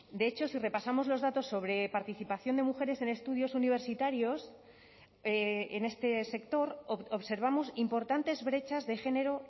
de hecho si repasamos los datos sobre participación de mujeres en estudios universitarios en este sector observamos importantes brechas de género